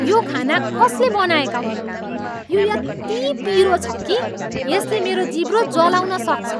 यो खाना कसले बनाएका हुन्? यो यति पिरो छ कि यसले मेरो जिब्रो जलाउन सक्छ।